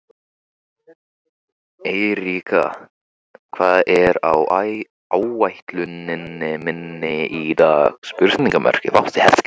Eiríka, hvað er á áætluninni minni í dag?